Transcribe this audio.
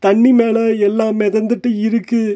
தண்ணி மேல எல்லா மெதந்துட்டு இருக்கு.